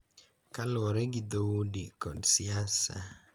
Kaluwore gi dhoudi kod siasa,